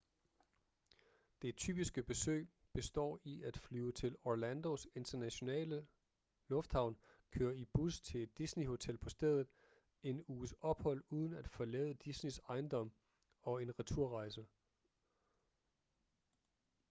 det typiske besøg består i at flyve til orlandos internationale lufthavn køre i en bus til et disney-hotel på stedet en uges ophold uden at forlade disneys ejendom og en returrejse